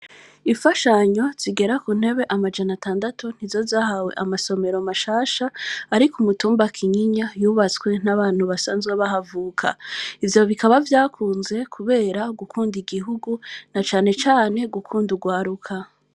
Ifashanyo zigera ku ntebe amajana atandatu ntizozahawe amasomero mashasha, ariko umutumbakinyinya yubatswe n'abantu basanzwe bahavuka ivyo bikaba vyakunze, kubera gukunda igihugu na canecane gukunda ugwaruka.